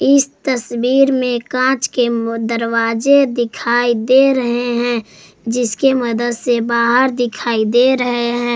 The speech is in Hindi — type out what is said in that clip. इस तस्वीर में कांच के दरवाजे दिखाई दे रहे हैं जिसके मदद से बाहर दिखाई दे रहे हैं।